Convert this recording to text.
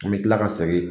An bɛ tila ka segin